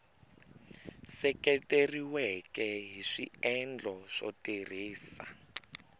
seketeriweke hi swiendlo swo tirhisa